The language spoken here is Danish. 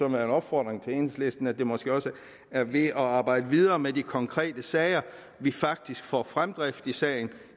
en opfordring til enhedslisten at det måske også er ved at arbejde videre med de konkrete sager at vi faktisk får fremdrift i sagen